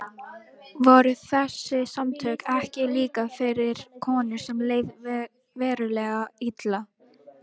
Voru þessi samtök ekki líka fyrir konur sem leið verulega illa?